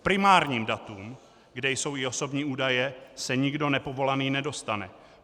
K primárním datům, kde jsou i osobní údaje, se nikdo nepovolaný nedostane.